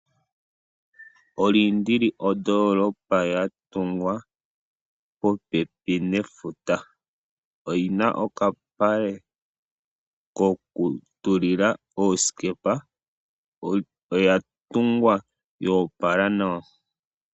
Oludertiz oyo ondoolopa yatungwa popepi nefuta. Oyina okapale kokutulila oosikepa noya tungwa yoopala nawa.